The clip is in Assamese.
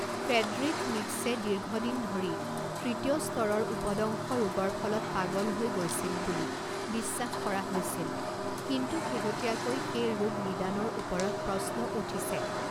ফ্ৰেডৰিখ নীৎছে দীৰ্ঘদিন ধৰি তৃতীয় স্তৰৰ উপদংশ ৰোগৰ ফলত পাগল হৈ গৈছিল বুলি বিশ্বাস কৰা হৈছিল, কিন্তু শেহতীয়াকৈ সেই ৰোগ নিদানৰ ওপৰত প্ৰশ্ন উঠিছে।